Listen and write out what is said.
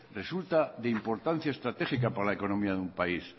resulta de importancia estratégica para la economía de un país